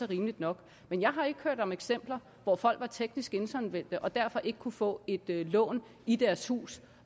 rimeligt nok men jeg har ikke hørt om eksempler hvor folk var teknisk insolvente og derfor ikke kunne få et lån i deres hus